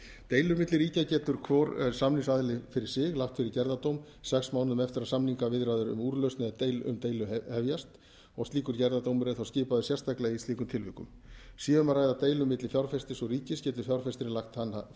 deilur milli ríkja getur hvor samningsaðili fyrir sig lagt fyrir gerðardóm sex mánuðum eftir að samningaviðræður um úrlausn deilu hefjast og slíkur gerðardómur er þá skipaður sérstaklega í slíkum tilvikum sé um að ræða deilu milli fjárfestis og ríkis getur fjárfestirinn lagt hana fyrir